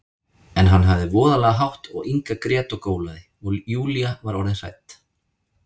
En hann hafði voðalega hátt og Inga grét og gólaði, og Júlía var orðin hrædd.